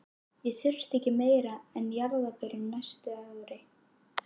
Ég þurfti ekki meira af jarðarberjum næstu árin.